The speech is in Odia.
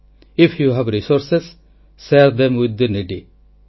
ଆଇଏଫ୍ you have resource share them with the needy